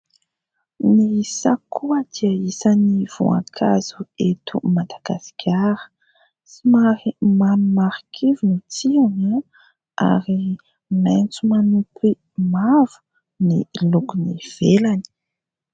Ny sakoa dia isan'ny voankazo eto Madagasikara somary mamy marikivy ny tsirony ary maintso manompy mavo ny lokon'ny ivelany.